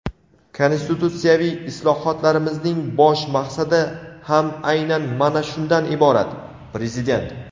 Konstitutsiyaviy islohotlarimizning bosh maqsadi ham aynan mana shundan iborat – Prezident.